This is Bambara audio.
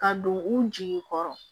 Ka don u jigi kɔrɔ